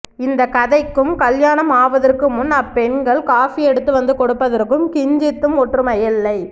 இந்தக் கதைக்கும் கல்யாணம் ஆவதற்கு முன் அப்பெண்கள் காஃபியெடுத்து வந்து கொடுப்பதற்கும் கிஞ்சித்தும் ஒற்றுமையில்லை